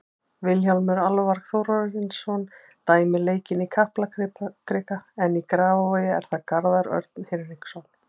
Vilhjálmur Alvar Þórarinsson dæmir leikinn í Kaplakrika en í Grafarvogi er það Garðar Örn Hinriksson.